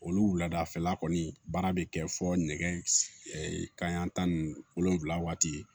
Olu wuladafɛla kɔni baara bɛ kɛ fɔ nɛgɛ kanyan tan ni wolonfula waati ye